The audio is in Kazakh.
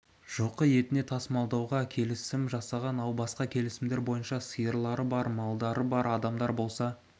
жылқы етіне тасымалдауға келісім жасаған ал басқа келісімдер бойынша сиырлары бар малдары бар адамдар болса